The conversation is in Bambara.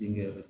Denkɛ